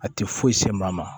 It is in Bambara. A tɛ foyi se maa ma